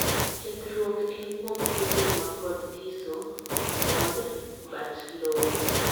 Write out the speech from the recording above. Kethruok en kuom seedling mapod thiso mongd but lowo.